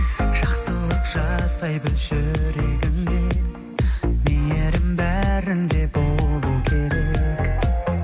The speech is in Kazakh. жақсылық жасай білші жүрегіңмен мейірім бәрінде болу керек